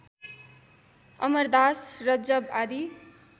अमरदास रज्जव आदि